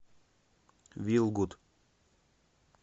вилгуд